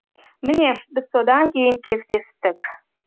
міне біз содан кейін кездестік